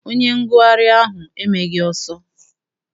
Onye ngụgharị ahụ emeghị ọsọ.